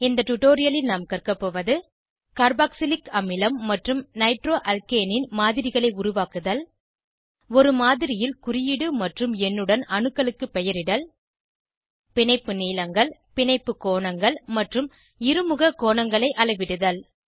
இந்த டுடோரியலில் நாம் கற்கபோவது கார்பாக்சிலிக் அமிலம் மற்றும் நைட்ரோஆல்கேனின் மாதிரிகளை உருவாக்குதல் ஒரு மாதிரியில் குறியீடு மற்றும் எண்ணுடன் அணுக்களுக்கு பெயரிடல் பிணைப்பு நீளங்கள் பிணைப்பு கோணங்கள் மற்றும் இருமுக கோணங்களை அளவிடுதல்